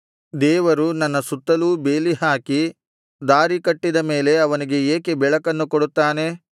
ದೇವರು ನನ್ನ ಸುತ್ತಲೂ ಬೇಲಿ ಹಾಕಿ ದಾರಿಕಟ್ಟಿದ ಮೇಲೆ ಅವನಿಗೆ ಏಕೆ ಬೆಳಕನ್ನು ಕೊಡುತ್ತಾನೆ